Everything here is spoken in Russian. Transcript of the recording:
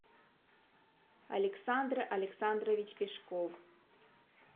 александр александрович пешков